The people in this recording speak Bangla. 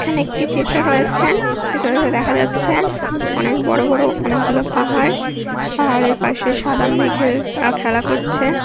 এখানে একটি চিত্র রয়েছে। চিত্রিটিতে দেখা যাচ্ছে অনেক বড়ো বড়ো অনেক গুলো পাহাড়। পাহাড়ের পাশে সাদা মেঘের আ খেলা করছে।